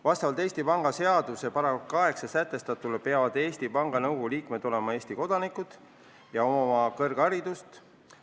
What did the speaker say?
Vastavalt Eesti Panga seaduse §-s 8 sätestatule peavad Eesti Panga Nõukogu liikmed olema Eesti kodanikud ja omama kõrgharidust.